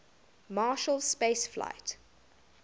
marshall space flight